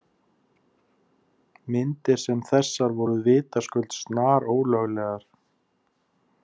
Myndir sem þessar voru vitaskuld snarólöglegar.